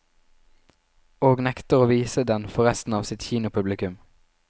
Og nekter å vise den for resten av sitt kinopublikum.